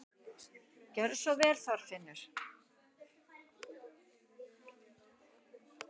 Gerðu svo vel, Þorfinnur!